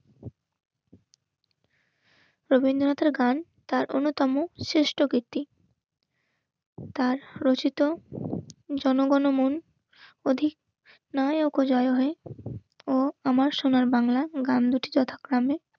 রবীন্দ্রনাথের গান তার অন্যতম শ্রেষ্ঠ ভিত্তি. তার রচিত জনগণ মন অধিক নয় ওপো জয় হে ও আমার সোনার বাংলা গান দুটি যথাক্রমে